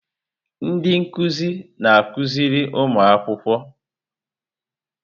Ndị nkuzi na-akụziri ụmụ akwụkwọ.